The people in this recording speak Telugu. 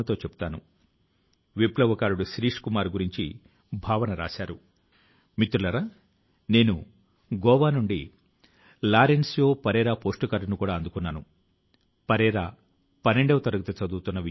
ఇందుకోసం 9వ తరగతి నుంచి 12వ తరగతి వరకు విద్యార్థులు ఉపాధ్యాయులు తల్లితండ్రుల కోసం ఆన్లైన్ పోటీ ని సైతం నిర్వహించడం జరుగుతుంది